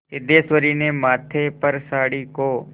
सिद्धेश्वरी ने माथे पर साड़ी को